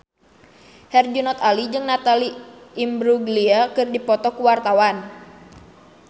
Herjunot Ali jeung Natalie Imbruglia keur dipoto ku wartawan